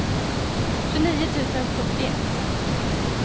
tjugonio tusen sjuttioett